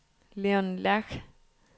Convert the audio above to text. Leon Lerche